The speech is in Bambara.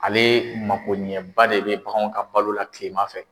Ale makoɲɛba de bɛ baganw ka balo la kilema fɛ